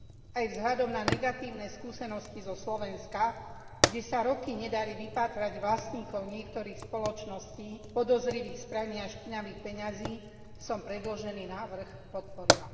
Aj vzhľadom na negatívne skúsenosti zo Slovenska, kde sa roky nedarí vypátrať vlastníkov niektorých spoločností podozrivých z prania špinavých peňazí, som predložený návrh podporila.